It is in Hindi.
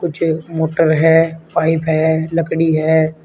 जो मोटर है पाइप है लकड़ी है।